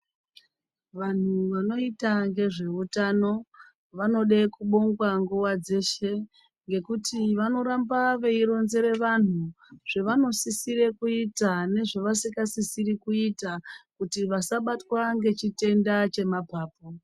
Vantu vanoita nezvehutano vanoda kubongwa nguwa dzeshe nekuti varamba veironzera vantu zvavanosisira kuita nezvavasinga sisiri kuita kuti vasabatwa ngechitenda chemapapu.